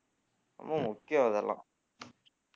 ரொம்ப முக்கியம் அதெல்லாம்